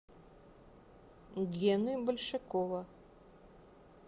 гены большакова